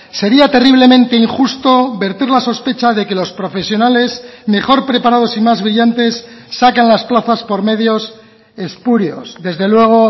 sería terriblemente injusto verter la sospecha de que los profesionales mejor preparados y más brillantes sacan las plazas por medios espurios desde luego